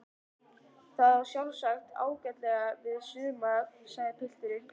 Það á sjálfsagt ágætlega við suma sagði pilturinn.